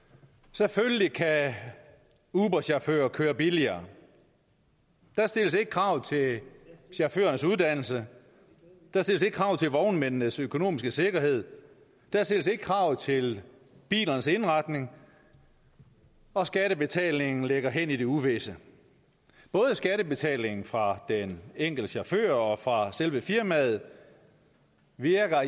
selvfølgelig kan uberchauffører køre billigere der stilles ikke krav til chaufførernes uddannelse der stilles ikke krav til vognmændenes økonomiske sikkerhed der stilles ikke krav til bilernes indretning og skattebetalingen ligger hen i det uvisse både skattebetalingen fra den enkelte chauffør og fra selve firmaet virker